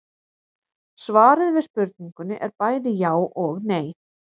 Svarið við spurningunni er bæði já og nei.